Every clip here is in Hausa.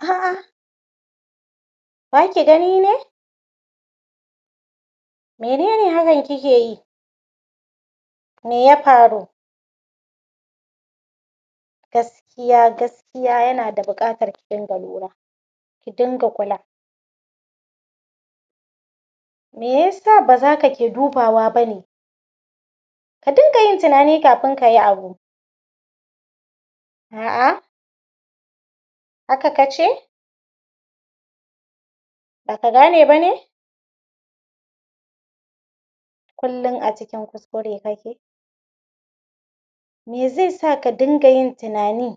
A a Ba ki gani ne mene ne hakan kike yi? me ya faru? Gaskiya, gaskiya yana da buƙatar ki dinga lura ki dinga kula me ya sa ba za ka ke dubawa ba ne? ka dunga yin tunani kafin ka yi abu a a haka ka ce? ba ka gane ba ne? kullum a cikin kuskure kake? me zai sa ka dinga yin tunani?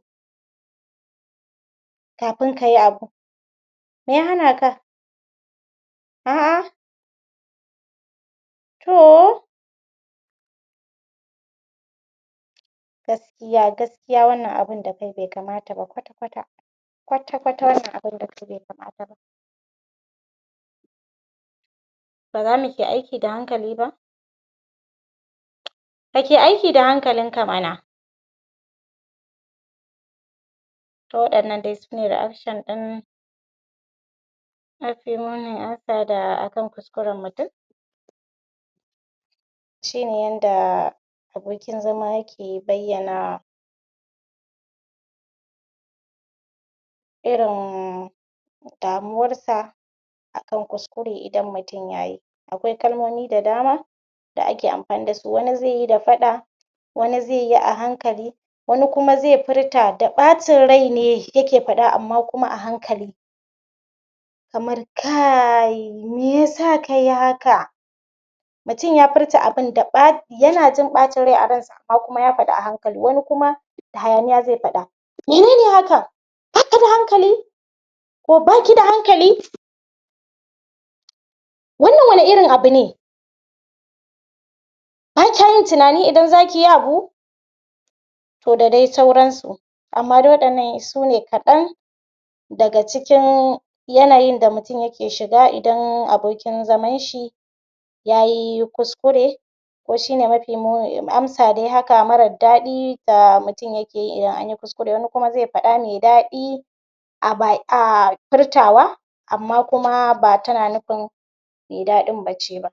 kafin ka yi abu me ya hana ka? a a to gaskiya gaskiya wannan abun da kai bai kamata ba kwata-kwata kwata-kwata wannan abun bai kamata ba. ba za mu ke aiki da hanakali ba? kake aiki da hankalinka mana? To waɗannan nan sune reaction ɗin akan kuskuren mutum shi ne yanda abokin zama yake bayyana irin damuwarsa a kan kuskure idan mutum ya yi akwai kalmomi da dama da ake amfani da su wani zai yi da faɗa wani zai yi a hankali wani kuma zai furta da ɓacin rai ne yake faɗa amma kuma hankali kamar kai me yasa ka yi haka? mutum ya furta abun yana jin ɓacin rai amma kuma ya faɗa a hankali hayaniya zai faɗa mene ne haka? ba ka da hankali? ko ba ki da hankali? wannan wane irin abu ne? ba kya yin tunani idan za ki yi abu? to da dai sauransu, amma waɗannan sune kaɗan daga cikin yanayin da mutum yake shiga idan abokin zaman shi ya yi kuskure. ko shi ne mafi muni amsa dai haka marar daɗi da mutum yake yi idan an yi kuskure wani kuma zai faɗa mai daɗi a ba a furtawa amma kuma ba tana nufin mai daɗin ba ce ba.ɓ